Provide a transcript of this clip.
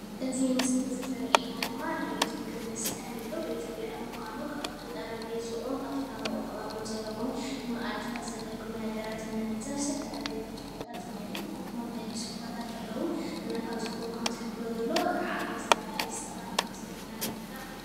እዚ ምስሊ ዘሪአና ድማ ናይ ቤት ምግብን መስተን እዩ። ቤት ብልዒ ምኳኑ ካብቲ ጠርጴዝኡን ካብቶም ኣብኡ ተቐሪቦም ዘለዉ ንመኣድታት ዝገልግሉ ነገራትን ንዕዘብ ዝተፈላለዩ ብርጭቆታት እኒአው ኮፍ መበሊ ሶፋታት ኣለው እና ካብዚ ፎቶ ካምዝሕብሮ ዘሎ ዓብዪ ዝበለ ሬስቶራንት ክምዝኒአ ኢና ንርዳእ።